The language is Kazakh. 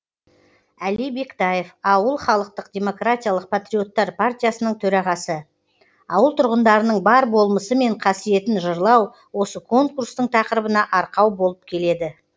әли бектаев ауыл халықтық демократиялық патриоттар партиясының төрағасы ауыл тұрғындарының бар болмысы мен қасиетін жырлау осы конкурстың тақырыбына арқау болып келеді